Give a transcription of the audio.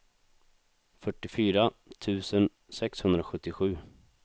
fyrtiofyra tusen sexhundrasjuttiosju